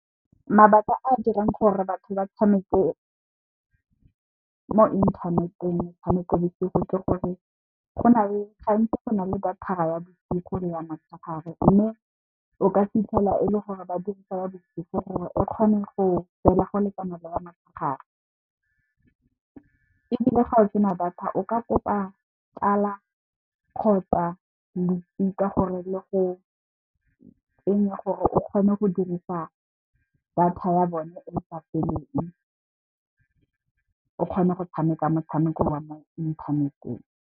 Mabaka a a dirang gore batho ba tshameke mo inthaneteng, metshameko bosigo ke gore gantsi go na le data ya bosigo le ya motshegare. Mme, o ka fitlhela e le gore ba dirisa ya bosigo gore e kgone go tseela go lekana le ya motshegare ebile, ga o sena data o ka kopa tsala kgotsa losika gore le go tsenye gore o kgone go dirisa data ya bone e sa feleng, o kgone go tshameka motshameko wa mo inthaneteng.